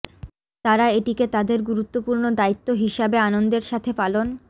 তারা এটিকে তাদের গুরুত্বপূর্ণ দায়িত্ব হিসাবে আনন্দের সাথে পালন